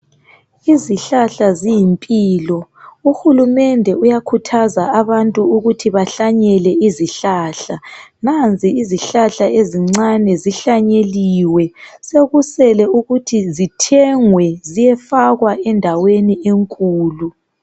Izihlahla ziyimpilo uhulumende uyakhuthaza abantu ukuthi bahlanyele izihlahla. Nanzi izihlahla ezincane zihlanyeliwe sekusele ukuthi zithengwe ziyefakwa endaweni enkulu.